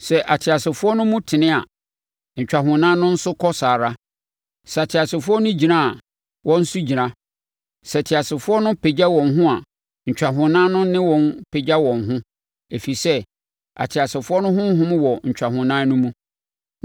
Sɛ ateasefoɔ no tu tene a, ntwahonan no nso kɔ saa ara; sɛ ateasefoɔ no gyina a, wɔn nso gyina; sɛ ateasefoɔ no pagya wɔn ho a, ntwahonan no ne wɔn pagya wɔn ho, ɛfiri sɛ ateasefoɔ no honhom wɔ ntwahonan no mu.